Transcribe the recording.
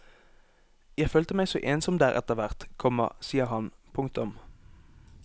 Jeg følte meg så ensom der etter hvert, komma sier han. punktum